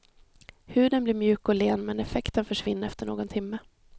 Huden blir mjuk och len, men effekten försvinner efter någon timme.